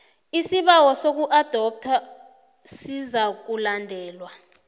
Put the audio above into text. isibawo sokuadoptha sizakulalelwa